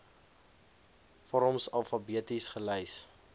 vorms alfabeties gelys